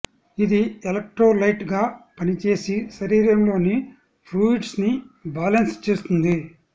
ఇది ఎలెక్ట్రోలైట్ గా పనిచేసి శరీరంలోని ఫ్లూయిడ్స్ ని బాలన్స్ చేస్తుంది